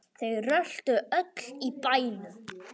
Þau röltu öll í bæinn.